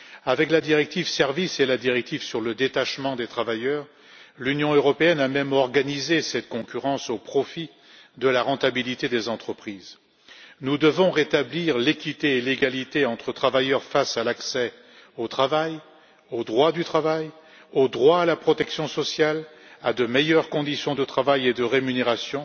Avec la directive sur les services et la directive sur le détachement des travailleurs, l'Union européenne a même organisé cette concurrence au profit de la rentabilité des entreprises. Nous devons rétablir l'équité et l'égalité entre travailleurs face à l'accès au travail, au droit du travail, au droit à la protection sociale, à de meilleures conditions de travail et de rémunération,